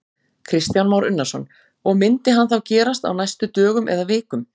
Kristján Már Unnarsson: Og, myndi hann þá gerast á næstu dögum eða vikum?